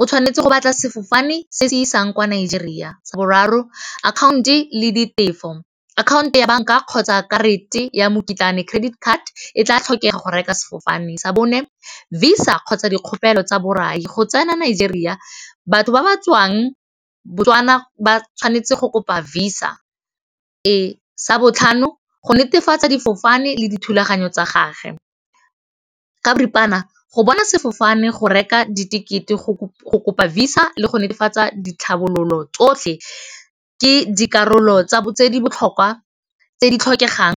o tshwanetse go batla sefofane se se isang kwa Nigeria, sa boraro account-o le ditefo akhaonto ya banka kgotsa karate ya mokitlane credit card e tla tlhokega go reka sefofane, sa bone visa kgotsa dikgopolo tsa borai go tsena Nigeria batho ba ba tswang Botswana ba tshwanetse go kopa visa, sa botlhano go netefatsa difofane le dithulaganyo tsa gage, ka boripana go bona sefofane go reka di dikete go kopa visa le go netefatsa ditlhabololo tsotlhe ke dikarolo tse di botlhokwa tse di tlhokegang.